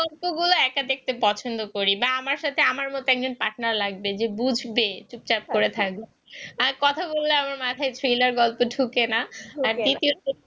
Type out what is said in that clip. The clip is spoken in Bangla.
গল্প গুলো একা দেখতে পছন্দ করি বা আমার সাথে আমার মত একজন partner লাগবে যে বুঝবে চুপচাপ করে থাকবে আর কথা বললে আমার মাথায় thriller গল্প ঢোকেন আর